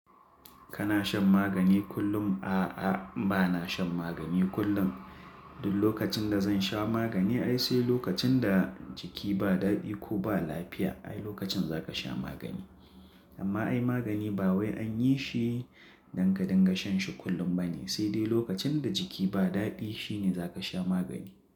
Kana shan magani kullum? A'a, bana shan magani kullum. Duk lokacin da zan sha magani, ai sai lokacin da jiki ba daɗi ko ba lafiya, ai lokacin za ka sha magani. Amma ai magani ba wai an yi shi dan ka dinga shan shi kullum bane, sai dai lokacin da jiki ba daɗi shine zaka sha magani.